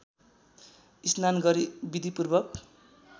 स्नान गरी विधिपूर्वक